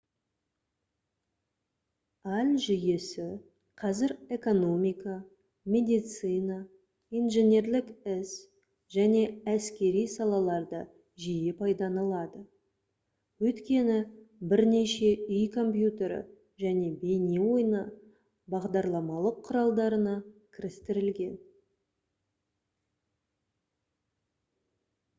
ai жүйесі қазір экономика медицина инженерлік іс және әскери салаларда жиі пайдаланылады өйткені бірнеше үй компьютері және бейне ойыны бағдарламалық құралдарына кірістірілген